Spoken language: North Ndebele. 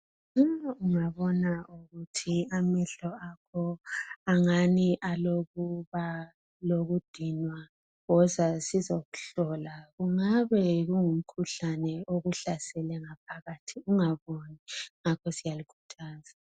Uma ungabona ukuthi amehlo akho angani alokuba lokudinwa woza sizokuhlola kungabe kungu mkhuhlane okuhlasele ngaphakathi ungaboni ,ngakho siyalikhuthaza .